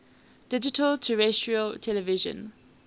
digital terrestrial television